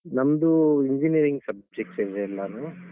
ನಮ್ದು engineering subject ಅಲ್ಲಿರುದೆಲ್ಲಾನೂ.